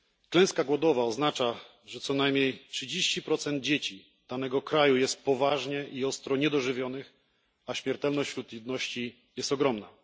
Klęska głodowa oznacza, że co najmniej 30 dzieci z danego kraju jest poważnie i ostro niedożywionych, a śmiertelność wśród ludności jest ogromna.